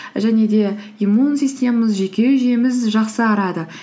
және де иммун системамыз жүйке жүйеміз жақсарады